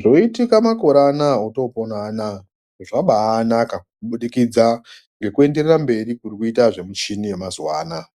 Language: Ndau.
Zvoitika makore ano otopona anaya zvabaanaka kubudikidza ngekuenderera mberi kuri kuita michini yemazuwa anaya.